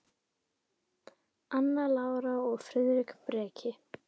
Anna Lára og Friðrik Breki.